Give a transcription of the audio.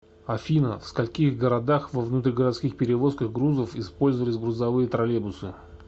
афина в скольких городах во внутригородских перевозках грузов использовались грузовые троллейбусы